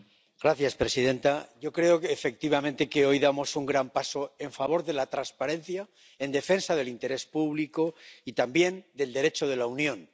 Señora presidenta, yo creo efectivamente que hoy damos un gran paso en favor de la transparencia, en defensa del interés público y también del Derecho de la Unión.